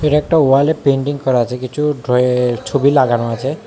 একটা ওয়ালে পেইন্টিং করা আছে কিছু ড্র এর ছবি লাগানো আছে।